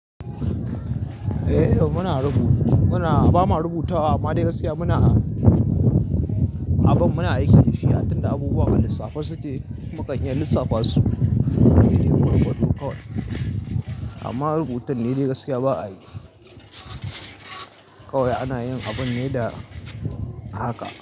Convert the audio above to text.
Muna rubu bama rubutawa amma dai gaskiya muna abin, muna aiki da shi, ya tantance abubuwan a lissafin su da mukan iyan lissafa su. Amma rubutun nedai gaskiya ba a yi. Kawai ana yin abin ne da haka.